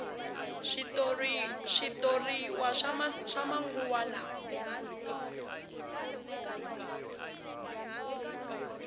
switoriwa swa manguva lawa